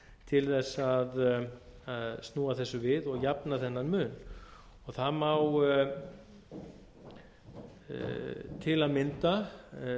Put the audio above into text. til þess að snúa þessu við og jafna þennan mun það má til að mynda